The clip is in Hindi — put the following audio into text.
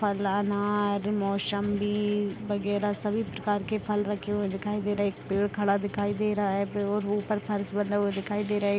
अनार मोसम्भी वगैरा सभी प्रकार के फल रखे हुए दिखाई दे रहे है। एक पेड़ खड़ा दिखाई दे रहा है। बंधा हुआ दिखाई दे रहा है।